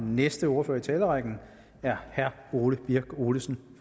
næste ordfører i talerrækken er herre ole birk olesen